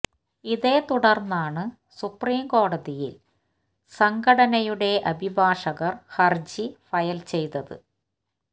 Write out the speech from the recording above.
ഇതേ തുടർന്നാണ് സുപ്രിം കോടതിയിൽ സംഘടനയുടെ അഭിഭാഷകർ ഹർജി ഫയൽ ചെയ്തത്